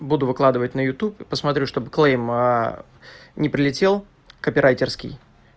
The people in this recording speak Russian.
буду выкладывать на ютуб посмотрю чтоб клейм не прилетел копирайтерский